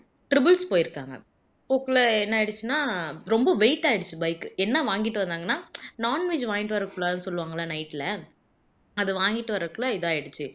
triples போயிருக்காங்க போக்குள்ள என்ன ஆயிடுச்சுன்னா ரொம்ப weight ஆயிடுச்சு bike உ என்ன வாங்கிட்டு வந்தாங்கன்னா non veg வாங்கிட்டு வர கூடாதுன்னு சொல்லுவாங்கல்ல night ல அத வாங்கிட்டு வர்றகுள்ள இதாயிடுச்சு